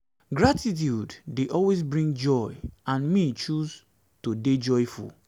gratitude dey always bring joy and me choose to dey joyful